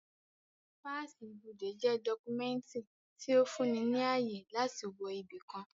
Páàsì ibodè jẹ́ dọ́kúmẹ̀ntì tí ó fún ni ní ààyè láti wọ ibi kan